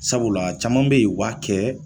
Sabula caman be yen u b'a kɛ